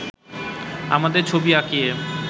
আমাদের ছবি আঁকিয়ে